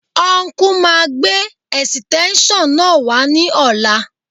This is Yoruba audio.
Ọnkú máa gbé ẹ̀sìtẹ́ńṣọ̀n náà wá ní ọ̀la